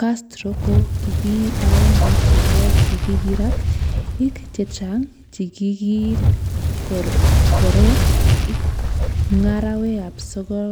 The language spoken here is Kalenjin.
Castro kokiagenge chebo chikikirat ik chechang chikikiit korgorret ik ngarawe ab sogol